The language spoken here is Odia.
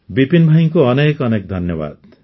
ବିପିନ୍ ଭାଇଙ୍କୁ ଅନେକ ଅନେକ ଧନ୍ୟବାଦ